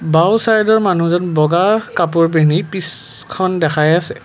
বাওঁ চাইডৰ মানুহজন বগা কাপোৰ পিন্ধি পিছখন দেখাই আছে।